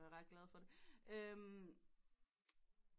Er ret glad for det